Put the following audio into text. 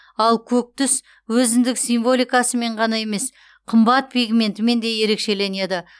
ал көк түс өзіндік символикасымен ғана емес қымбат пигментімен де ерекшеленеді